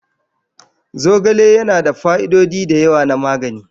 Zogale yana da fa'idodi da yawa na magani.